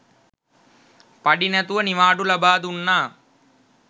පඩි නැතිව නිවාඩු ලබා දුන්නා.